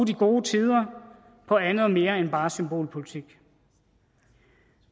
de gode tider på andet og mere end bare symbolpolitik